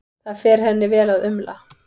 Það fer henni vel að umla.